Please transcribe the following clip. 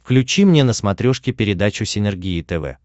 включи мне на смотрешке передачу синергия тв